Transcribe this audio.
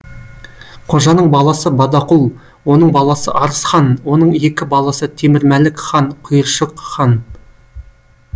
қожаның баласы бадақұл оның баласы арыс хан оның екі баласы темірмәлік хан құйыршық хан